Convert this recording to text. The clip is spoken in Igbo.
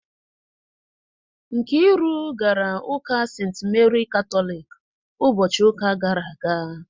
Nkiru gara Ụka ​​St. Meri Katolik ụbọchị ụka gara aga